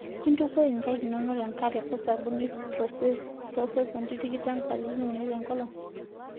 Intukuo inkaik inono tenkare oo sabuni toosekonti tikitam katitin uni tenkolong'.